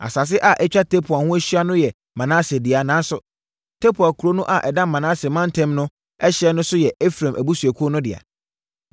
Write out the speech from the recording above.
(Asase a atwa Tapua ho ahyia no yɛ Manase dea, nanso, Tapua kuro no a ɛda Manase mantam no ɛhyeɛ so no yɛ Efraim abusuakuo no dea.)